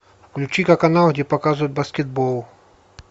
включи ка канал где показывают баскетбол